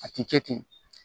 A ti kɛ ten